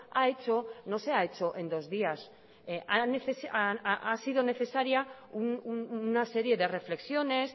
ha hecho no se ha hecho en dos días ha sido necesaria una serie de reflexiones